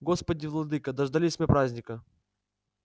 господи владыка дождались мы праздника